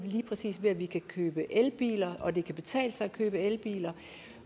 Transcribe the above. ved at vi kan købe elbiler og det kan betale sig at købe elbiler